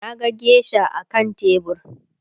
Naga geisha akan tebur